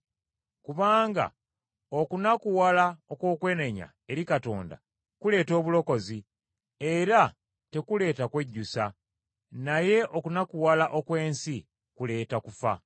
Kubanga okunakuwala okw’okwenenya eri Katonda kuleeta obulokozi, era tekuleeta kwejjusa; naye okunakuwala okw’ensi kuleeta kufa.